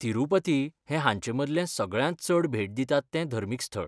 तिरूपती हें हांचेमदलें सगळ्यांत चड भेट दितात तें धर्मीक स्थळ.